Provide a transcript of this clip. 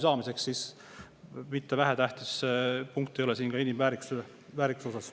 See ei ole vähetähtis punkt inimväärikuse osas.